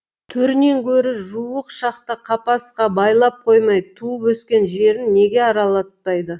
төрінен көрі жуық шақта қапасқа байлап қоймай туып өскен жерін неге аралатпайды